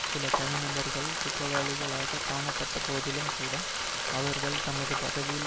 சில தனி நபர்கள் குற்றவாளிகளாகக் காணப்பட்ட போதிலும் கூட அவர்கள் தமது பதவியில்